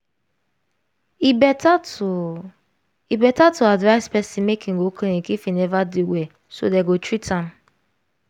e better to e better to advise person make im go clinic if im neva dey well so dem go treat am